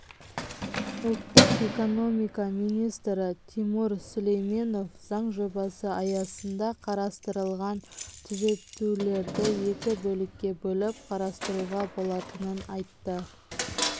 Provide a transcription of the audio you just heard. ұлттық экономика министрі тимур сүлейменов заң жобасы аясында қарастырылған түзетулерді екі бөлікке бөліп қарастыруға болатынын айтты